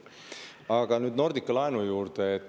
Aga nüüd Nordica laenu juurde.